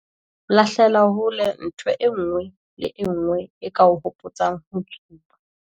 Lahlela hole ntho e nngwe le e nngwe e ka o hopotsang ho tsuba.